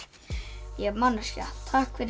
ég er manneskja takk fyrir